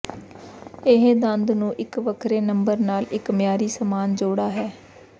ਇਹ ਦੰਦ ਨੂੰ ਇੱਕ ਵੱਖਰੇ ਨੰਬਰ ਨਾਲ ਇੱਕ ਮਿਆਰੀ ਸਾਮਾਨ ਜੋੜਾ ਹੈ